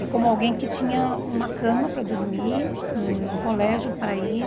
E como alguém que tinha uma cama para dormir, um colégio para ir...